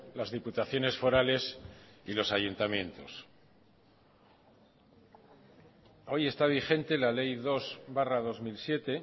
las diputaciones forales y los ayuntamientos hoy está vigente la ley dos barra dos mil siete